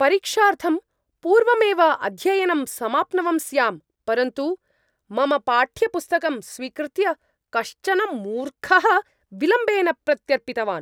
परीक्षार्थं पूर्वमेव अध्ययनं समाप्नवं स्यां, परन्तु मम पाठ्यपुस्तकं स्वीकृत्य कश्चन मूर्खः विलम्बेन प्रत्यर्पितवान्।